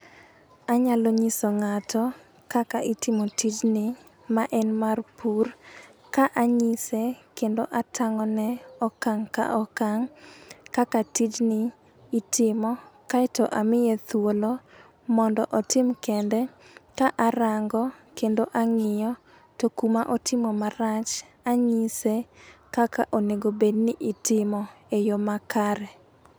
Anyalo nyiso ng'ato kaka itimo tijni ma en mar pur ka anyise kendo atang'one okang' ka okang' kaka tijni itimo kaeto amiye thuolo mondo otim kende, ka arango kendo ang'iyo to kuma otimo marach anyise kaka onego bed ni itimo e yo makare.